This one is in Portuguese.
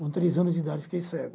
Com três anos de idade, fiquei cego.